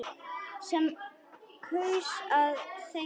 Sem kaus að þegja.